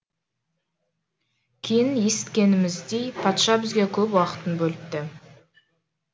кейін есіткеніміздей патша бізге көп уақытын бөліпті